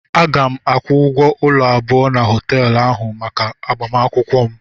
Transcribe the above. Aga m akwụgwo ụlọ abụọ na họteelu ahụ maka agbamakwụkwọ m.